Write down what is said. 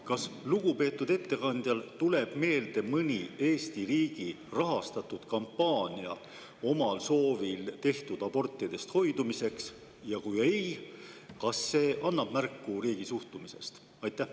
Kas lugupeetud ettekandjale tuleb meelde mõni Eesti riigi rahastatud kampaania omal soovil tehtavatest abortidest hoidumiseks, ja kui ei, kas see annab märku riigi suhtumisest?